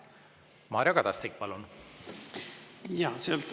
Mario Kadastik, palun!